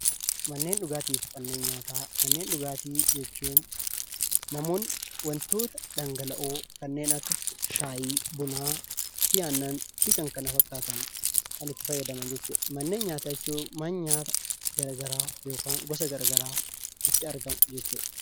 Manneen dhugaatii jechuun namoonni wantoota dhangala'oo kanneen akka: shaayii, buna, aannan fi kan kana fakkaatan kan itti fayyadaman jechuudha.. Manneen nyaataa jechuun mana nyaata gosa gara garaa itti argamu jechuudha.